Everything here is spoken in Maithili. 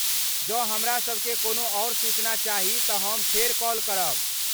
जँ हमरासभकेँ कोनो आओर सूचना चाही तऽ हम फेर कॉल करब।